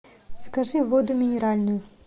закажи воду минеральную